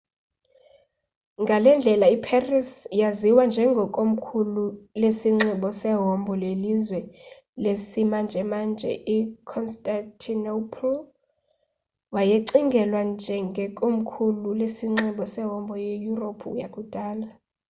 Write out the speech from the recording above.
ngalendlela iparis yaziwa njenge komkhulu lesinxibo sehombo yelizwe lesimanjemanje i-constantinople wayecingelwa njenge komkhulu lesinxibo sehombo ye-yuropu yakudala